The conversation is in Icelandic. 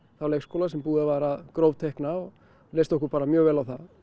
þá leikskóla sem búið var að grófteikna og leist okkur bara mjög vel á það